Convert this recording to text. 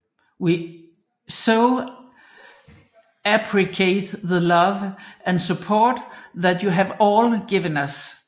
We so appreciate the love and support that you have all given us